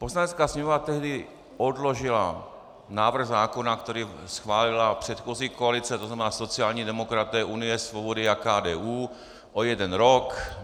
Poslanecká sněmovna tehdy odložila návrh zákona, který schválila předchozí koalice, to znamená sociální demokraté, Unie svobody a KDU, o jeden rok.